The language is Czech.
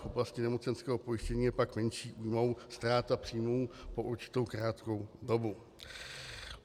V oblasti nemocenského pojištění je pak menší újmou ztráta příjmů po určitou krátkou dobu.